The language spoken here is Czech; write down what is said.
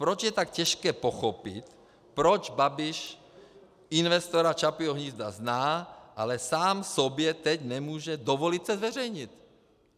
Proč je tak těžké pochopit, proč Babiš investora Čapího hnízda zná, ale sám sobě teď nemůže dovolit se zveřejnit.